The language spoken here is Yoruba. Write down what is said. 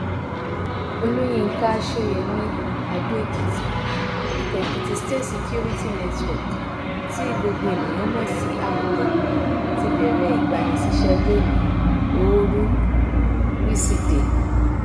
olùyinka sóyemí adóèkìtì ikọ èkìtì state security network tí gbogbo èèyàn mọ sí àmọtẹkùn ti bẹrẹ ìgbanisíṣẹ lónìí ooru wíṣèdèe